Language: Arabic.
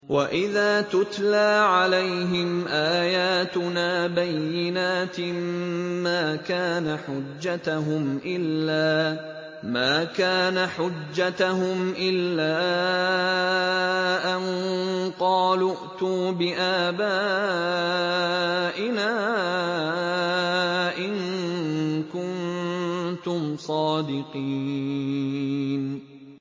وَإِذَا تُتْلَىٰ عَلَيْهِمْ آيَاتُنَا بَيِّنَاتٍ مَّا كَانَ حُجَّتَهُمْ إِلَّا أَن قَالُوا ائْتُوا بِآبَائِنَا إِن كُنتُمْ صَادِقِينَ